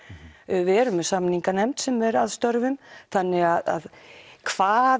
við erum með samninganefnd sem er að störfum þannig að hvað